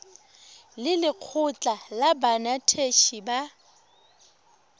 le lekgotlha la banetetshi ba